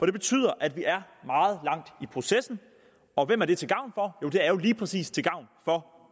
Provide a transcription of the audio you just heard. det betyder at vi er meget langt i processen og hvem er det til gavn for joh det er jo lige præcis til gavn for